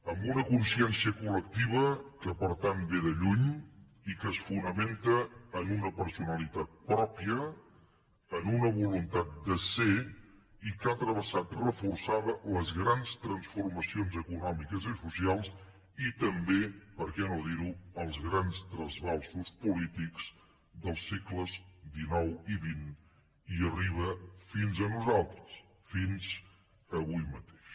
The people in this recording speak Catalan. amb una consciència collectiva que per tant ve de lluny i que es fonamenta en una personalitat pròpia en una voluntat de ser i que ha travessat reforçada les grans transformacions econòmiques i socials i també per què no dir ho els grans trasbalsos polítics dels segles xixnosaltres fins avui mateix